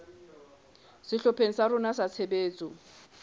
sehlopheng sa rona sa tshebetso